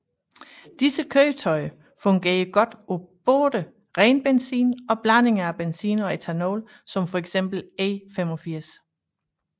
Disse køretøjer fungerer godt på både ren benzin og blandinger af benzin og ethanol som for eksempel E85